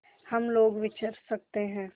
हम लोग विचर सकते हैं